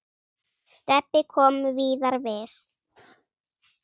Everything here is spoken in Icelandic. Stebbi kom víðar við.